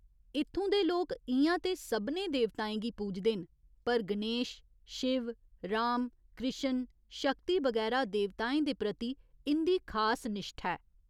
इत्थूं दे लोक इ'यां ते सभनें देवताएं गी पूजदे न पर गणेश, शिव, राम, कृश्ण, शक्ति बगैरा देवताएं दे प्रति इं'दी खास निश्ठा ऐ।